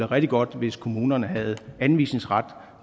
rigtig godt hvis kommunerne havde anvisningsret